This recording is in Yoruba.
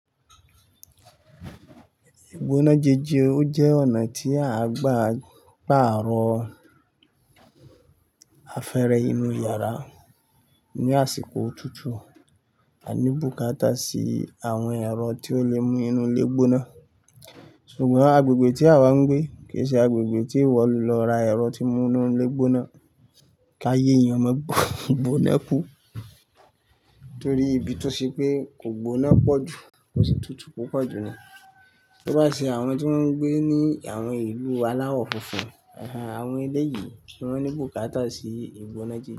Ìgbóná jẹjẹ o jẹ́ ọ̀nà tí a gbà pa àárọ̀ afẹ́rẹ́ inú yàrá ní àsìkò òtútù, a ní bùkátà sí àwọn ẹ̀rọ tí ó lè mú inú lé gbóná. Ṣùgbọ́n agbègbè tí a wá ń gbé kì í ṣe agbègbè tí ìwọ lọ ra ẹ̀rọ tí mú inú lé gbóná, káyé èèyàn má gbó, gbóná kú. Nítorí ibi tó ṣe pé kò gbóná pọ̀jù, kò sì tútù púpọ̀ jù ni. To bá ṣe àwọn tí wọ́n ń gbé ní àwọn ìlú aláwọ̀ funfun, àwọn elé yìí ni wọ́n ní bùkátà sí ìgbóná jẹjẹ.